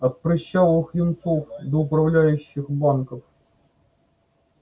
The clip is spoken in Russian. от прыщавых юнцов до управляющих банков